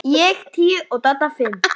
Ég tíu og Dadda fimm.